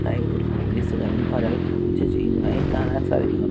ആയി ഒരു പോലീസുകാരൻ ഒരാൾ പൂജ ചെയ്യുന്നതായും കാണാൻ സാധിക്കുന്നുണ്ട്.